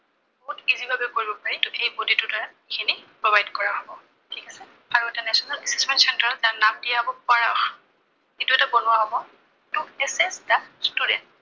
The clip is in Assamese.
বহুত easy ভাবে কৰিব পাৰি, যদিহে এই body টোৰ দ্বাৰা এইখিনি provide কৰা হব। ঠিক আছে, আৰু এটা national insurance center তাৰ নাম দিয়া হব পাৰস, এইটো এটা বনোৱা হব, এইটোত কি হব just students